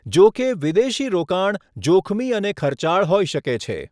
જોકે, વિદેશી રોકાણ જોખમી અને ખર્ચાળ હોઇ શકે છે.